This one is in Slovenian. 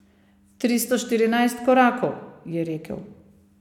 Tristo štirinajst korakov, je rekel.